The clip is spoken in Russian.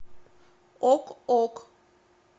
ок ок